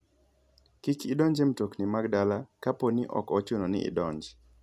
Kik idonj e mtokni mag dala kapo ni ok ochuno ni idonj.